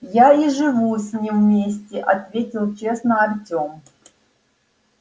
я и живу с ним вместе ответил честно артем